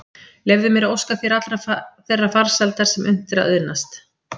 Leyfðu mér að óska þér allrar þeirrar farsældar sem unnt er að auðnast.